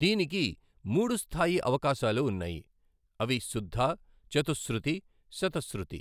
దీనికి మూడు స్థాయి అవకాశాలు ఉన్నాయి, అవి శుద్ద, చతుశ్రుతి, శతశ్రుతి.